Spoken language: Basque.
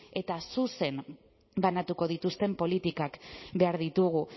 eta zuzen banatuko dituzten politikak behar ditugu